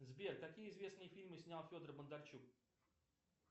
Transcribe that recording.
сбер какие известные фильмы снял федор бондарчук